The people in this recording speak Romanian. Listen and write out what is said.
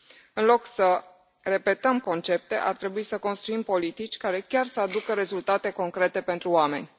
În loc să repetăm concepte, ar trebui să construim politici care chiar să aducă rezultate concrete pentru oameni.